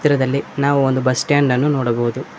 ದಲ್ಲಿ ನಾವು ಒಂದು ಬಸ್ ಸ್ಟಾಂಡ್ ಅನ್ನು ನೋಡಬಹುದು.